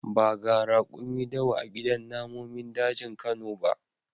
Ba ga rakumi dawa a gidan namomin dajin kano ba.